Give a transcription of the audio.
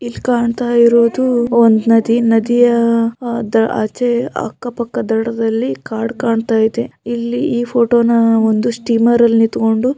ಇಲ್ ಕಾಣ್ತಾ ಇರೋದು ಒಂದ್ ನದಿ ನದಿಯ ಅದ್ ಆಚೆ ಅಕ್ಕ ಪಕ್ಕ ದಡದಲ್ಲಿ ಕಾಡ್ ಕಾಣ್ತಾ ಇದೆ ಇಲ್ಲಿ ಈ ಫೋಟೋ ನೂ ಒಂದು ಸ್ಟೀಮರ್ ಅಲ್ ನಿತ್ಕೊಂಡು --